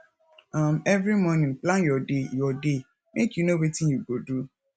um every morning plan your day your day make you know wetin you go do